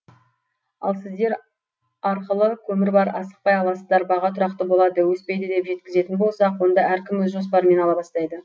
ал сіздер арқылы көмір бар асықпай аласыздар баға тұрақты болады өспейді деп жеткізетін болсақ онда әркім өз жоспарымен ала бастайды